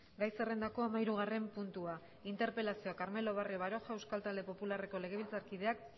gai zerrendako hamahirugarren puntua interpelazioa carmelo barrio baroja euskal talde popularreko legebiltzarkideak